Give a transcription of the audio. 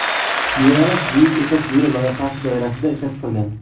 Yo‘nalish Buyuk ipak yo‘li loyihasi doirasida ishlab chiqilgan.